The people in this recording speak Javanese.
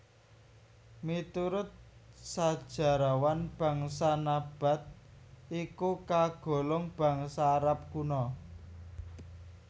Miturut sajarahwan bangsa Nabath iku kagolong bangsa Arab kuna